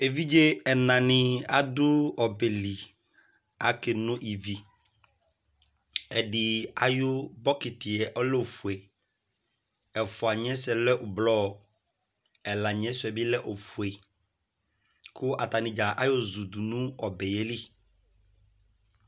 evidʒe ɛna di adu ɔbɛli kukake no iviɛdi ayu bɔkiti ɔlɛ ofoe, ɛfoaniɛ suɛ lɛ blɔ, ɛla niɛ suɛ bi lɛ ofue ku atani ɖʒa ayo ʒu du nuɔbɛ ye li